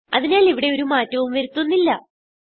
അതിനാൽ ഇവിടെ ഒരു മാറ്റവും വരുത്തുന്നില്ല